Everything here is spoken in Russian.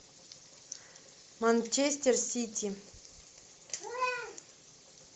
манчестер сити